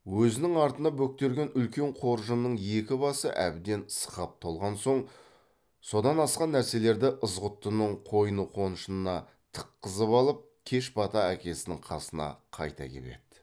өзінің артына бөктерген үлкен қоржынның екі басы әбден сықап толған соң содан асқан нәрселерді ызғұттының қойны қоншына тыққызып алып кеш бата әкесінің қасына қайта кеп еді